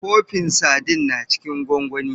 Kofin Sadin na cikin gwangwani.